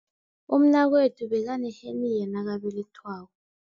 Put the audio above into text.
Umnakwethu bekaneheniya nakabelethwako.